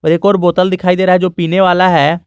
एक और बोतल दिखाई दे रहा है जो पीने वाला है।